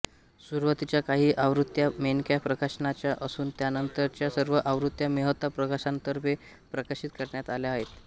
सुरुवातीच्या काही आवृत्त्या मेनका प्रकाशनाच्या असून त्यानंतरच्या सर्व आवृत्त्या मेहता प्रकाशनातर्फे प्रकाशित करण्यात आल्या आहेत